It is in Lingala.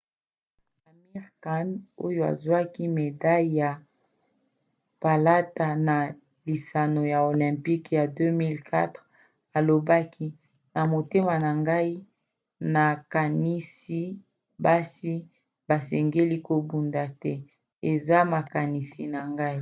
amir khan oyo azwaki medaille ya palata na lisano ya olympique ya 2004 alobaki ete na motema na ngai nakanisi basi basengeli kobunda te. eza makanisi na ngai.